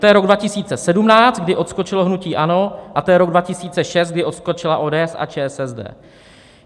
To je rok 2017, kdy odskočilo hnutí ANO, a to je rok 2006, kdy odskočila ODS a ČSSD.